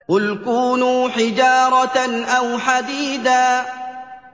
۞ قُلْ كُونُوا حِجَارَةً أَوْ حَدِيدًا